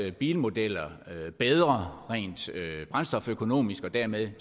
bilmodeller bedre rent brændstoføkonomisk og dermed